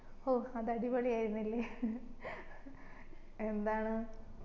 ഓ അത് അടിപൊളി ആയിരുന്നില്ലേ എന്താണ്